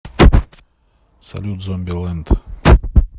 салют зомби ленд